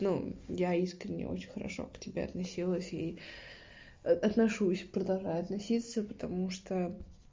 ну я искренне очень хорошо к тебе относилась и отношусь продолжаю относиться потому что